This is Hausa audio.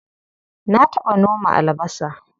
Na taɓa noma albasa.